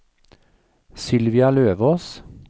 Sylvia Løvås